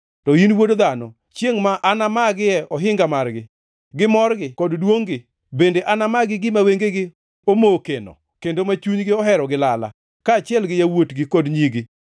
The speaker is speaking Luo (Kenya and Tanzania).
“To in, wuod dhano, chiengʼ ma anamagie ohinga margi, gi morgi kod duongʼ-gi; bende anamagi gima wengegi omokeno, kendo ma chunygi ohero gi lala; kaachiel gi yawuotgi kod nyigi.